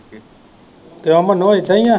ਕਿਉਂ ਮੰਨੋ ਇਹਦਾ ਈਆ?